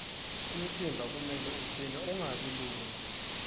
umtimba kumele ucine ungabi lula